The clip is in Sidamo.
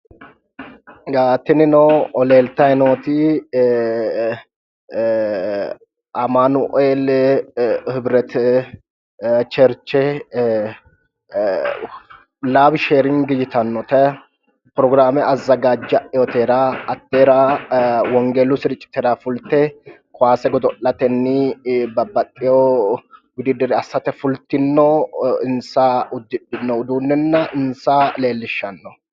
Tinino leelitayi nooti amanuel hibrete cherche nab sheerinigi yitanote, porogiraame azagajaewotera hateera wongelu sircitera fullite kaase godo'lateni babbaxewo wuddidire asate fullitino insa udidhino uduunena insa leelishano